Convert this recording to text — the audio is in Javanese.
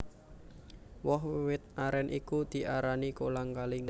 Woh wit arèn iku diarani kolang kaling